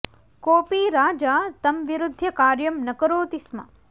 कोऽपि राजा तं विरुध्य कार्यं न करोति स्म